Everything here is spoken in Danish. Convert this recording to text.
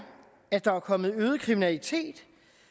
at der er kommet øget kriminalitet